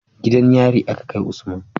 Gidan yari a Ka kai Usman